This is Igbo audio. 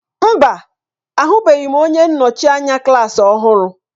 Mba! Ahụbeghị m onye nnọchi anya klaasị ọhụrụ.